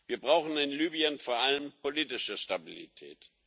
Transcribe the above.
Wir brauchen in Libyen vor allem politische Stabilität.